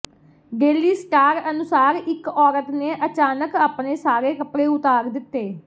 daily star ਅਨੁਸਾਰ ਇਕ ਔਰਤ ਨੇ ਅਚਾਨਕ ਆਪਣੇ ਸਾਰੇ ਕਪੜੇ ਉਤਾਰ ਦਿੱਤੇ